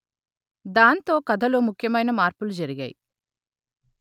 దాంతో కథలో ముఖ్యమైన మార్పులు జరిగాయి